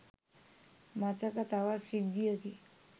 මතක තවත් සිද්ධියකි.